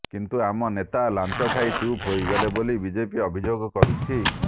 କିନ୍ତୁ ଆମ ନେତା ଲାଞ୍ଚ ଖାଇ ଚୁପ ହୋଇଗଲେ ବୋଲି ବିଜେପି ଅଭିଯୋଗ କରୁଛି